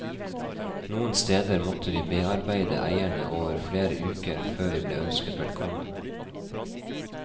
Noen steder måtte vi bearbeide eierne over flere uker, før vi ble ønsket velkommen.